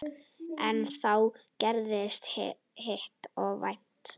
En þá gerðist hið óvænta.